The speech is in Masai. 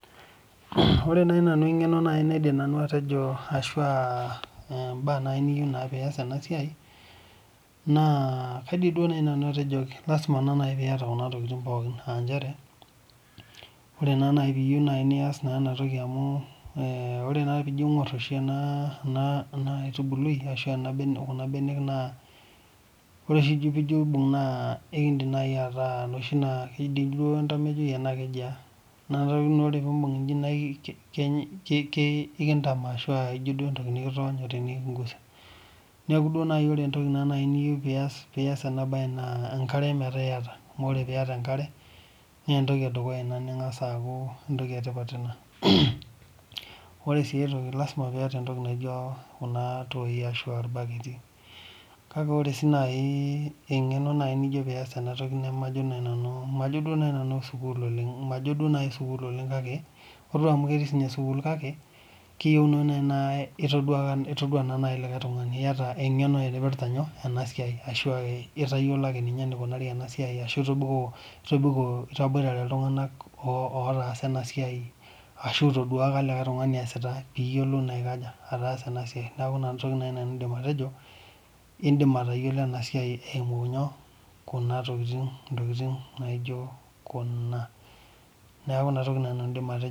Ore naaji nanu eng'eno naidim atejo ashu mbaa niyieu pee eyas ena siai naa kaidim atejo lasima pee eyata Kuna tokitin pookin aa njere ore naaji pee eyieu nias ena toki aa ore naa pijo aing'or ena aitubului ashu Kuna mbenek ore oshi pijo aibug ekidim ataa noshi enetmejoi noshi tokitin naa tenibug eji nikintame ashu ejio entoki nikitonyo neeku ore naaji entoki niyieu pee eyas ena mbae enkare metaa eyata amu ore pee eyata enkare naa entoki edukuya ena ningas aku entoki etipat ena ore sii aitoki naa lasima pee eyata Kuna toi ashua irbaketi kake ore sii naaji eng'eno naaji nijo pee eyas Tena toki majo naaji nanu sukuul oleng kake ore amu ketii sininye sukuul kake kiyieu naaji naa etodua likae tung'ani eyata eng'eno naipirta ena siai ashu etayiolo ake ninye enikunari ena siai ashu etaboitare iltung'ana otasaa ena siai ashu etodua likae tung'ani esita piyiolou naa atasa ena siai new ena toki naaji nanu aidim atejo edim atayiolo ena siai eyimu ntokitin naijio Kuna neeku ena toki naaji nanu aidim atejo